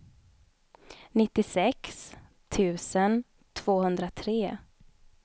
nittiosex tusen tvåhundratre